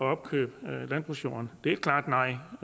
at opkøbe landbrugsjorden det siger vi klart nej